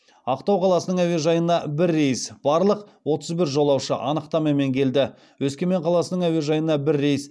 ақтау қаласының әуежайына бір рейс барлық отыз бір жолаушы анықтамамен келді өскемен қаласының әуежайына бір рейс